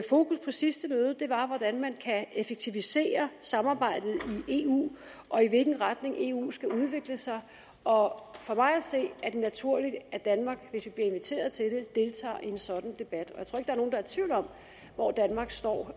fokus på sidste møde var hvordan man kan effektivisere samarbejdet i eu og i hvilken retning eu skal udvikle sig og for mig at se er det naturligt at danmark hvis vi bliver inviteret til det deltager i en sådan debat og i tvivl om hvor danmark står